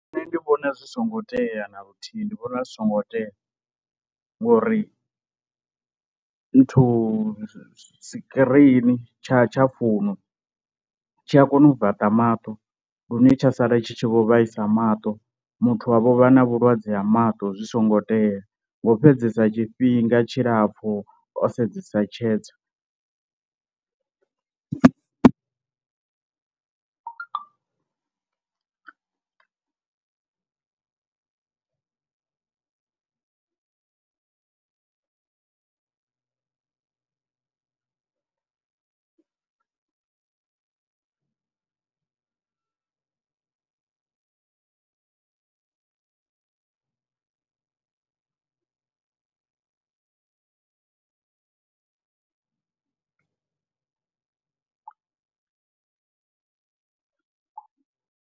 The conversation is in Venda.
Nṋe ndi vhona zwi songo tea na luthihi ndi vhona zwi songo tea, ngori nthu sikirini tsha tsha founu tshi a kona u vaṱa maṱo lune tsha sala tshi tshi vho vhaisa maṱo, muthu wavho vha na vhulwadze ha maṱo zwi songo tea ngo fhedzesa tshifhinga tshilapfhu o sedzesa tshedza.